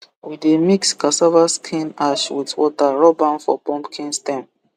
we dey mix cassava skin ash with water rub am for pumpkin stem